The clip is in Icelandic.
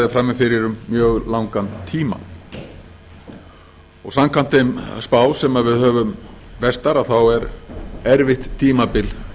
frammi fyrir um mjög langan tíma og samkvæmt þeim spám sem við höfum verstar er erfitt tímabil